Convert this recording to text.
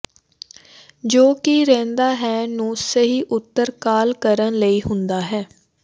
ਜੋ ਕਿ ਰਹਿੰਦਾ ਹੈ ਨੂੰ ਸਹੀ ਉੱਤਰ ਕਾਲ ਕਰਨ ਲਈ ਹੁੰਦਾ ਹੈ